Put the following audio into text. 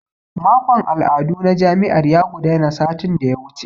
Makon al'adu na jami'ar ya gudana satin da ya wuce.